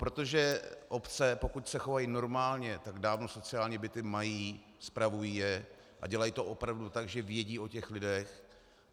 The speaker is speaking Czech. Protože obce, pokud se chovají normálně, tak dávno sociální byty mají, spravují je a dělají to opravdu tak, že vědí o těch lidech.